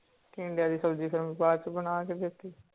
ਟੀਂਡੇ ਦੀ ਸਬਜ਼ੀ ਫੇਰ ਮੈਂ ਬਾਦ ਚ ਬਣਾ ਕੇ ਦਿਤੀ